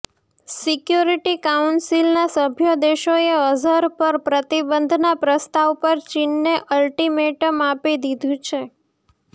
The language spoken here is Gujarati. સિક્યોરિટી કાઉન્સિલના સભ્ય દેશોએ અઝહર પર પ્રતિબંધના પ્રસ્તાવ પર ચીનને અલ્ટિમેટમ આપી દીધું છે